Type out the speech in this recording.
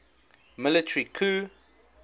military coup